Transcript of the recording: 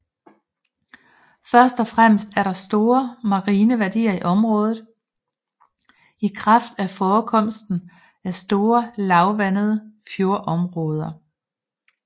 Først og fremmest er der store marine værdier i området i kraft af forekomsten af store lavvandede fjordområder